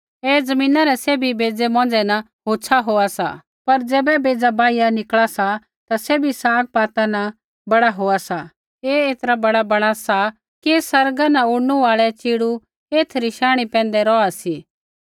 ऐ ज़मीना रै सैभी बेज़ै मौंझ़ै न होछ़ा होआ सा पर ज़ैबै बेज़ा बाहिया उगा सा ता सैभी सागपाता न बड़ा होआ सा ऐ ऐतरा बड़ा बैणा सा कि आसमाना न उड़नू आल़ै च़ीड़ू एथै री शांणी पैंधै रौहा सी